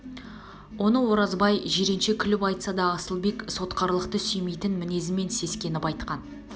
оны оразбай жиренше күліп айтса да асылбек сотқарлықты сүймейтін мінезмен сескеніп айтқан